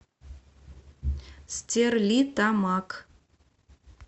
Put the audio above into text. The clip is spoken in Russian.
стерлитамак